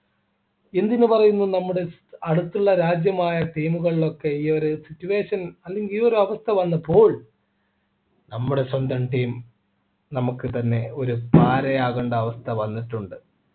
എന്തിനു പറയുന്നു നമ്മുടെ അടുത്തുള്ള രാജ്യമായ team കളിലൊക്കെ ഈ ഒരു ഈ ഒരു situation അല്ലെങ്കിൽ ഈ ഒരു അവസ്ഥ വന്നപ്പോൾ നമ്മുടെ സ്വന്തം team നമുക്ക് തന്നെ ഒരു പാരയാകേണ്ട അവസ്ഥ വന്നിട്ടുണ്ട്